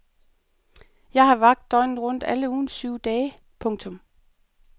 Jeg har vagt døgnet rundt alle ugens syv dage. punktum